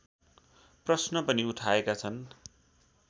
प्रश्न पनि उठाएका छन्